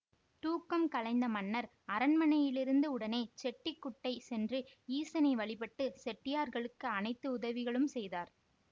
தூக்கம் கலைந்த மன்னர் அரண்மனையிலிருந்து உடனே செட்டிகுட்டை சென்று ஈசனை வழிபட்டு செட்டியார்களுக்கு அனைத்து உதவிகளும் செய்தார்